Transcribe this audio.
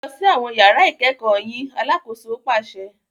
Ẹ lọ si awọn yàrà ikẹkọ yín! Alàkóso paṣẹ